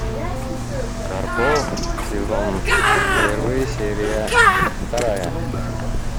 карпов сезон первый серия вторая